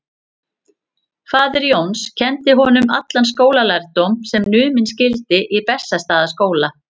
Faðir Jóns kenndi honum allan skólalærdóm sem numinn skyldi í Bessastaðaskóla.